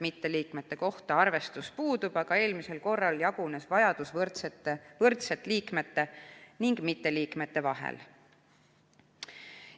Mitteliikmete kohta arvestus puudub, aga eelmisel korral jagunes vajadus võrdselt liikmete ja mitteliikmete vahel.